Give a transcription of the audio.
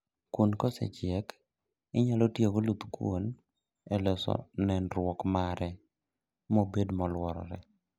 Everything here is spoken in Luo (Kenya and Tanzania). Kuon kosechiek, inyalo tiyo gi oluth kuon e loso nenruok mare mobet moluore